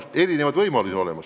On erinevad võimalusi.